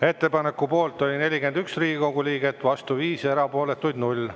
Ettepaneku poolt oli 41 Riigikogu liiget, vastu 5 ja erapooletuid 0.